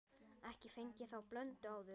Ekki fengið þá blöndu áður.